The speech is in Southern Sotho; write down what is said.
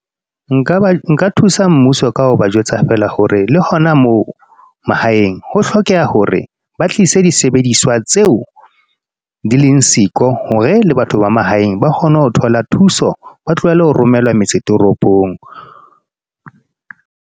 Nka ba, nka thusa mmuso ka ho ba jwetsa feela hore le hona moo, mahaeng. Ho hlokeha hore ba tlise disebediswa tseo, di leng siko. Hore, le batho ba mahaeng ba kgone ho thola thuso. Ba tlohele ho romelwa metse toropong.